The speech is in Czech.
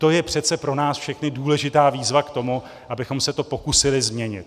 To je přece pro nás všechny důležitá výzva k tomu, abychom se to pokusili změnit.